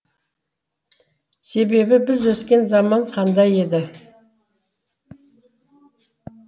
себебі біз өскен заман қандай еді